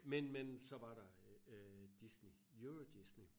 Men men så var der øh øh Disney eurodisney